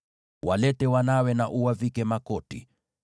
Walete wanawe na uwavike makoti.